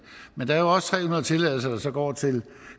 men der er jo også tre hundrede tilladelser der så går til